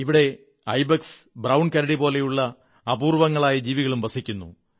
ഇവിടെ ibex brown കരടി പോലുള്ള അപൂർവ്വ ങ്ങളായ ജീവികളും വസിക്കുന്നു